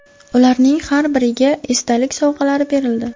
Ularning har biriga esdalik sovg‘alari berildi.